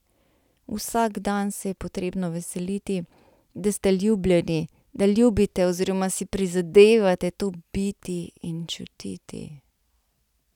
Vsak dan se je potrebno veseliti, da ste ljubljeni, da ljubite oziroma si prizadevate to biti in čutiti.